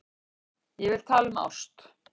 Ég vil tala um ást.